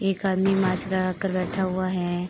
एक आदमी मास्क लगा कर बैठा हुआ है।